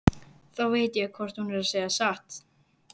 Þá veit ég hvort hún er að segja satt.